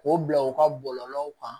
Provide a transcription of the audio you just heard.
K'o bila u ka bɔlɔlɔw kan